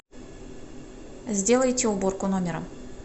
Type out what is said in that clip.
сделайте уборку номера